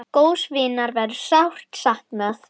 Góðs vinar verður sárt saknað.